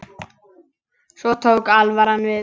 Svo tók alvaran við.